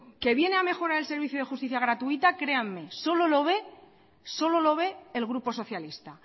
que viene a mejorar el servicio de justicia gratuita créanme solo lo ve el grupo socialista